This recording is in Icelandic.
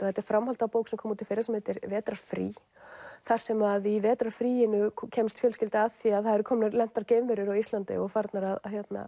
þetta er framhald af bók sem kom út í fyrra vetrarfrí þar sem að í vetrarfríinu kemst fjölskylda að því að það eru lentar geimverur á Íslandi og farnar að